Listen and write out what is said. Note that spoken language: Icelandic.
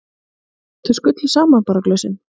Þau skullu saman bara glösin.